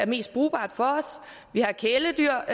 mest brugbare for os vi har kæledyr